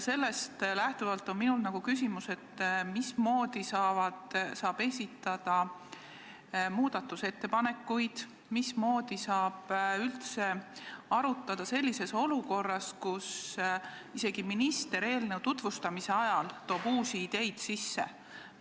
Sellest lähtuvalt on minul küsimus, mismoodi saab esitada muudatusettepanekuid, mismoodi saab üldse arutada sellises olukorras, kus isegi minister eelnõu tutvustamise ajal toob uusi ideid sisse.